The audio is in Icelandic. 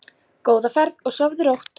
Góða ferð og sofðu rótt.